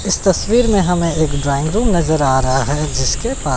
इस तस्वीर में हमें एक ड्राइंग रूम नजर आ रहा है जिसके पा--